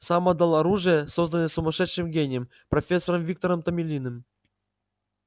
сам отдал оружие созданное сумасшедшим гением профессором виктором томилиным